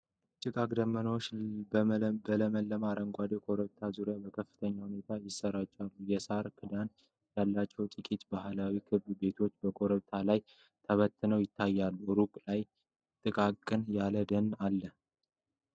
ጭጋግና ደመናዎች በለመለመ አረንጓዴ ኮረብታዎች ዙሪያ በከፍተኛ ሁኔታ ይሰራጫሉ። የሳር ክዳን ያላቸው ጥቂት ባህላዊ ክብ ቤቶች በኮረብታው ላይ ተበትነው ይታያሉ። ሩቅ ላይ ጥቅጥቅ ያለ ደን አለ።